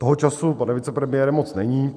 Toho času, pane vicepremiére, moc není.